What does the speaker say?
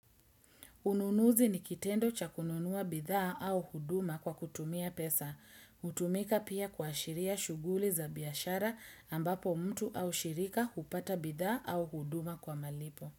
Ununuzi ni kitendo cha kununua bidhaa au huduma kwa kutumia pesa. Utumika pia kua shiria shughuli za biashara ambapo mtu au shirika upata bidhaa au huduma kwa malipo.